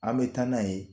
An bɛ taa n'a ye